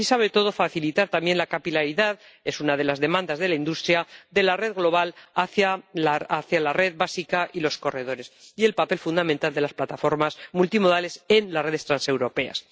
Y sobre todo, facilitar también la capilaridad —es una de las demandas de la industria— de la red global hacia la red básica y los corredores, y el papel fundamental de las plataformas multimodales en las redes transeuropeas.